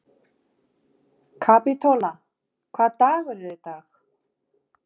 Kapítóla, hvaða dagur er í dag?